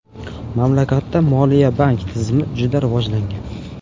Mamlakatda moliya-bank tizimi juda rivojlangan.